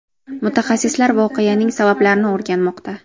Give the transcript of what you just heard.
Mutaxassislar voqeaning sabablarini o‘rganmoqda.